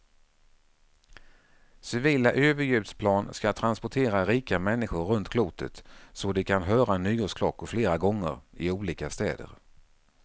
Civila överljudsplan ska transportera rika människor runt klotet så de kan höra nyårsklockor flera gånger, i olika städer.